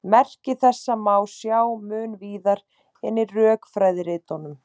Merki þessa má sjá mun víðar en í rökfræðiritunum.